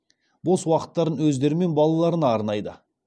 бос уақыттарын өздері мен балаларына арнайды